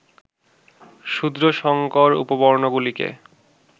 শূদ্র সংকর উপবর্ণগুলিকে